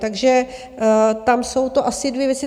Takže tam jsou to asi dvě věci.